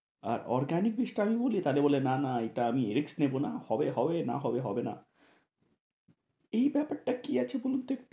আর arganic বীজটা আমি বলি টা হলে বলে না না এটা আমি risk নেব না, হবে হবে, না হবে হবে না এই ব্যাপার টা কি আছে বলুন তো?